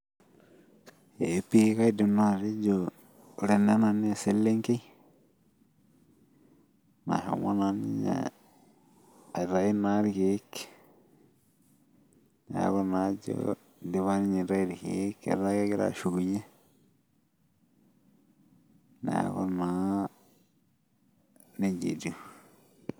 Ee pii kaidim naa atejo ore ena naa eselenkei nashomo naa ninye aitayu irkeek, neku naa idipa ninye aitayu irkeek, etaa kegira ashukunye Neeku naa, nejia etiiu.